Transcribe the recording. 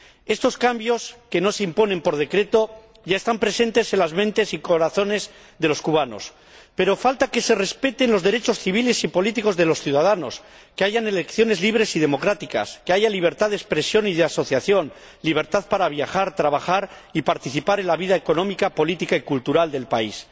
Estos cambios, que nos imponen por decreto, ya están presentes en las mentes y corazones de los cubanos, pero falta que se respeten los derechos civiles y políticos de los ciudadanos, que haya elecciones libres y democráticas, que haya libertad de expresión y asociación, libertad para viajar, trabajar y participar en la vida económica, política y cultural del país.